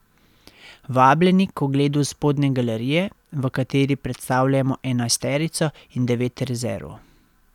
Vabljeni k ogledu spodnje galerije, v kateri predstavljamo enajsterico in devet rezerv.